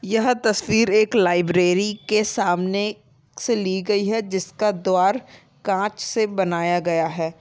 यह तस्वीर एक लाइब्रेरी के सामने से ली गयी है जिसका द्वार कांच से बनाया गया है।